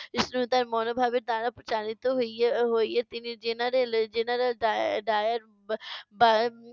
সহিষ্ণুতার মনোভাবের দ্বারা চালিত হইয়া হইয়ে তিনি general general ডায়ে~ ডায়ের